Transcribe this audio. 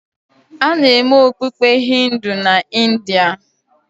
A na-eme okpukpe Hindu na India.